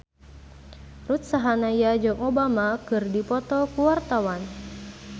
Ruth Sahanaya jeung Obama keur dipoto ku wartawan